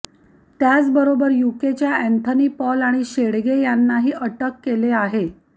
त्याचबरोबर युकेच्या Anthony Paul आणि शेडगे यांनाही अटक केले आहे